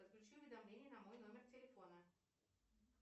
подключи уведомления на мой номер телефона